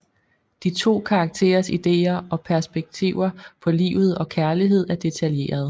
De to karakterers ideer og perspektiver på livet og kærlighed er detaljeret